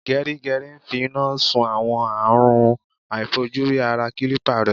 Gẹrígẹrí ń fi iná sun àwọn àrùn aàìfojúrí ara kílípà rẹ̀.